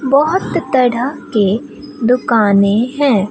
बहोत तरह के दुकानें हैं।